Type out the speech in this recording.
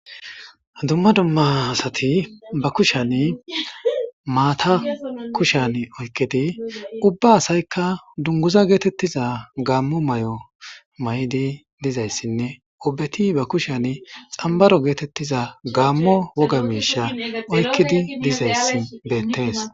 Dumma dumma asati ba kushan maata kushan oykkidi ubba asaykka dunguza geetettiza gaammo may'o may'di dizayssinne obeti ba kushan xambaro geetettiza gaammo woga miisha oykkidi dizayssi beettees